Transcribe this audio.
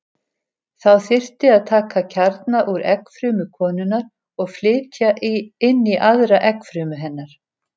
Þá þyrfti að taka kjarna úr eggfrumu konunnar og flytja inn í aðra eggfrumu hennar.